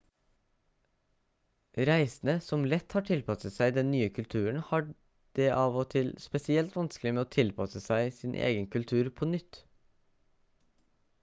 reisende som lett har tilpasset seg den nye kulturen har det av og til spesielt vanskelig med å tilpasse seg sin egen kultur på nytt